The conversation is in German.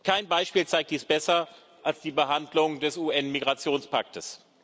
Kein Beispiel zeigt dies besser als die Behandlung des UN Migrationspaktes.